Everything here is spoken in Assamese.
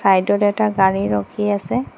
ছাইদডত এটা গাড়ী ৰখি আছে।